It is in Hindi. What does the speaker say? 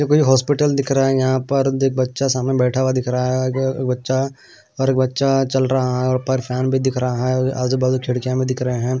हॉस्पिटल दिख रहा है यहां पर देख बच्चा सामने बैठा हुआ दिख रहा है बच्चा और एक बच्चा चल रहा है पर फैन भी दिख रहा है खेड़ के हमें दिख रहे हैं।